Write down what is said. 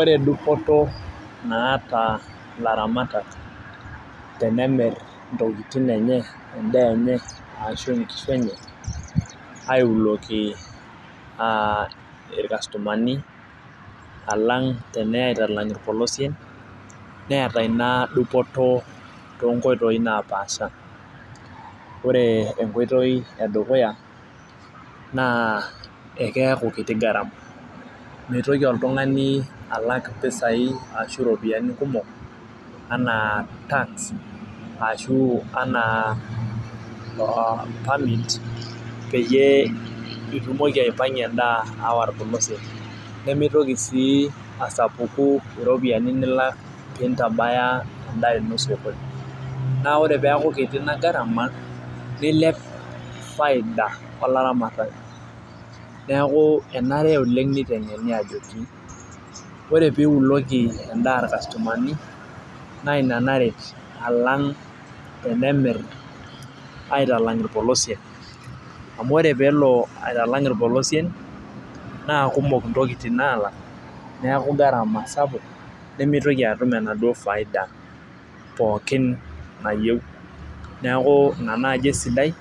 Ore dupoto naata ilaramatak tenemir intokitin enye, edaa enye ashu nkishu enye aiuloki ilkastomani. alang teneya aitalang ilpolosien. neeta Ina dupoto too nkoitoi napaasha. ore enkoitoi edukuya naa, ekeeku kitu garama. mitoki oltungani alak mpisai ashu iropiyiani kumok, anaa tax ashu, anaa permit peyiee itumoki aipangie edaa aawa irpolosien. nimitoki sii asapuku iropiyiani. nilak nintabaya edaa ino sokoni .naa ore peeku kiti inagarama nilep faida olaramatani. neeki enare oleng nitengeni ajoki, ore pee iuloki edaa ilkastomani naa Ina naret alang' tenemir aitalang irpolosien. amu ore peelo aitalang ilpolosien .naakumok intokitin naalak neeku gharama sapuk nimitoki atum enaduoo faida pookin nayieu. neeku Ina naaji esidai